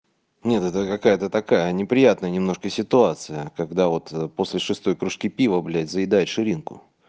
нет это какая-то такая неприятная немножко ситуация когда вот после шестой кружки пива блядь заедает ширинку